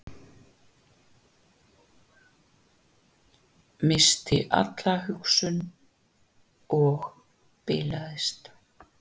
Missti alla hugsun og bilaðist